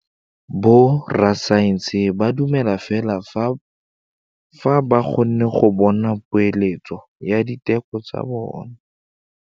Borra saense ba dumela fela fa ba kgonne go bona poeletsô ya diteko tsa bone.